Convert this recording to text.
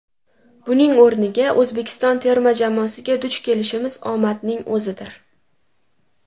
Buning o‘rniga, O‘zbekiston terma jamoasiga duch kelishimiz omadning o‘zidir.